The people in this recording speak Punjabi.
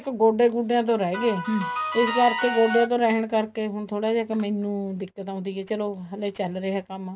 ਗੋਡੇ ਗੁਡੇਆਂ ਤੋਂ ਰਹੀ ਗੇ ਇਸ ਕਰਕੇ ਗੋਡੇ ਤੋਂ ਰਹਿਣ ਕਰਕੇ ਹੁਣ ਮਾੜਾ ਜ ਕ ਮੈਨੂੰ ਦਿੱਕਤ ਆਉਂਦੀ ਹੈ ਚਲੋ ਹਜੇ ਚੱਲ ਰਿਹਾ ਕੰਮ